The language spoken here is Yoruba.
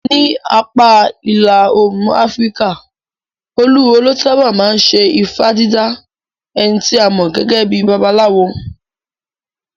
Ní apá ìlà Òòrùn Afíríkà, olúwo ló sáábà máa ń ṣe ifá dídá, ẹni tí a mọ̀ gẹ́gẹ́ bíi babaláwo.